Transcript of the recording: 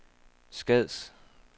Skads